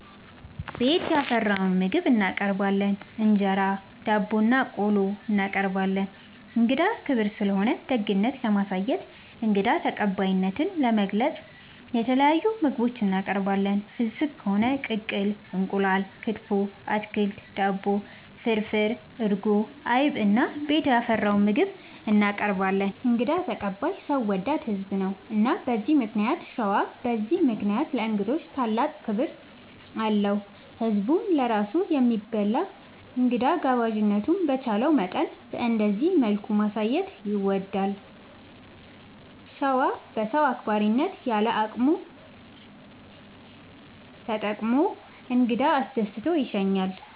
ቤት ያፈራውን ምግብ እናቀርባለን እንጀራ፣ ዳቦናቆሎ እናቀርባለን። እንግዳ ክብር ስለሆነ ደግነት ለማሳየትና እንግዳ ተቀባይነትን ለመግለፅ የተለያዩ ምግቦች እናቀርባለን። ፍስግ ከሆነ ቅቅል እንቁላል፣ ክትፎ፣ አትክልት፣ ዳቦ፣ ፍርፍር፣ እርጎ፣ አይብ እና ቤት ያፈራውን ምግብ እናቀርባለን እንግዳ ተቀባይ ሰው ወዳድ ህዝብ ነው። እና በዚህ ምክንያት ሸዋ በዚህ ምክንያት ለእንግዶች ታላቅ ክብር አለው። ህዝብም ለራሱ ከሚበላ እንግዳ ጋባዥነቱን በቻለው መጠን በእንደዚህ መልኩ ማሳየት ይወዳል። ሸዋ በሰው አክባሪነት ያለ አቅሙን ተጠቅሞ እንግዳ አስደስቶ ይሸኛል።